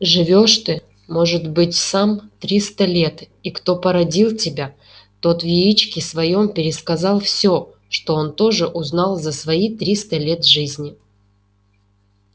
живёшь ты может быть сам триста лет и кто породил тебя тот в яичке своём пересказал всё что он тоже узнал за свои триста лет жизни